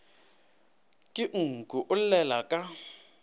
ke nku o llela ka